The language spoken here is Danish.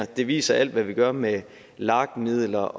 det viser alt hvad vi gør med lag midler